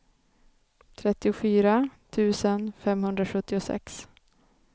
trettiofyra tusen femhundrasjuttiosex